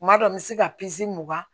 Kuma dɔ n bɛ se ka mugan